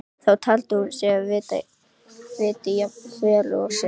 Það taldi hún mig vita jafn vel og sig.